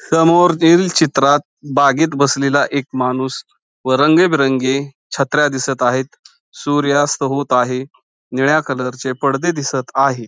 समोर दिल चित्रात बागेत बसलेला एक माणूस व रंगीबिरंगी छत्र्या दिसत आहेत. सूर्यास्त होत आहे. निळ्या कलरचे पडदे दिसत आहे.